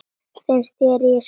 Finnst ég ekkert skilja.